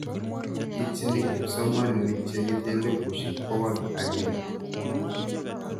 Itchini kipsomanik che ite elipushek pokol ag'eng'e